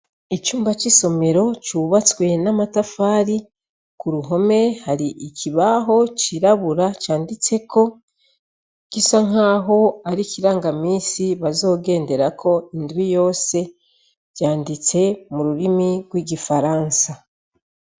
icumba c'isomero cubatswe n'amatafari k'uruhome hari ikibaho cirabura canditseko gisa nkaho ar'ikirangamisi bazogenderako indwi yose, vyanditse mu rurimi rw'igifaransa.